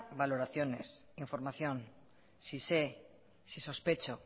valoraciones información si sé si sospecho